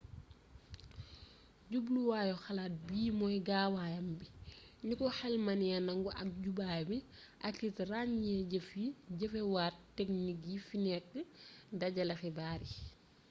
jubluwaayu xalaat bii mooy gaawaayam bi niko xel mënee nangu ak jubaay bi akit raññee jëf yi jëfewaat teknik yi fi nekk dajale xibaar yi